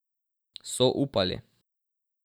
So upali.